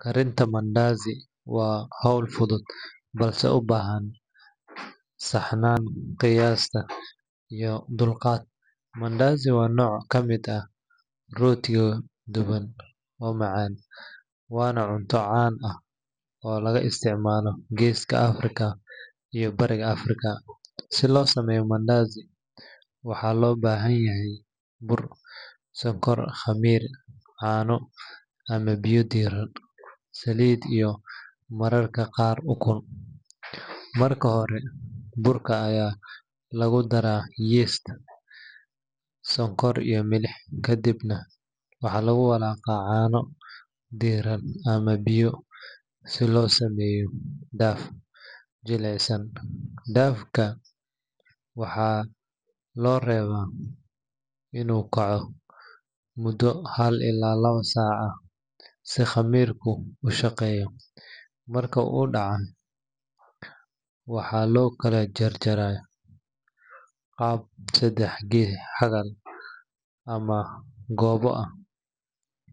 Karinta mandaazi waa hawl fudud balse u baahan saxnaanta qiyaasta iyo dulqaad. Mandaazi waa nooc ka mid ah rootiga duban oo macaan, waana cunto caan ah oo laga isticmaalo Geeska Afrika iyo Bariga Afrika. Si loo sameeyo mandaazi, waxaa loo baahan yahay bur, sonkor, khamiir, caano ama biyo diirran, saliid iyo mararka qaar ukun. Marka hore, burka ayaa lagu daraa yeast, sonkor iyo milix, kadibna waxaa lagu walaaqaa caano diirran ama biyo si loo sameeyo dough jilicsan. Dough-ga waxaa loo reebaa inuu kaco muddo hal ilaa lawo saacadood ah si khamiirku u shaqeeyo. Marka uu kacay, waxaa loo kala jarjaraa qaab saddex-xagal ama goobo ah,